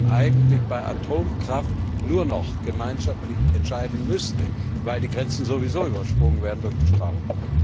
Müsste man nicht eigentlich bei Atomkraft nur noch gemeinschaftlich entscheiden, weil die Grenzen sowieso übersprungen werden durch die Strahlung?